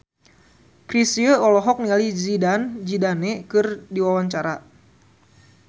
Chrisye olohok ningali Zidane Zidane keur diwawancara